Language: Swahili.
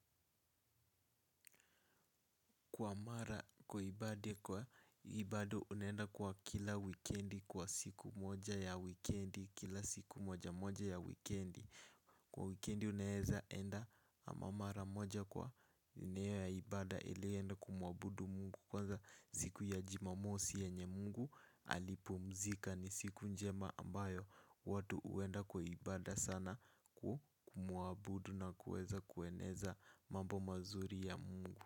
Kwa mara kwa ibadi kwa hii bado unenda kwa kila wikendi kwa siku moja ya wikendi kila siku moja moja ya wikendi. Kwa wikendi unaeza enda ama mara moja kwa nia ya ibada ili ienda kumuabudu mungu. Kwanza siku ya jumamosi yenye mungu alipumzika ni siku njema ambayo watu huenda kwa ibada sana kumuabudu na kuweza kueneza mambo mazuri ya mungu.